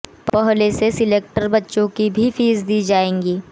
पहले से सिलेक्टर बच्चों की भी फीस दी जाएगी